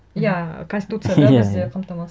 иә конституцияда бізде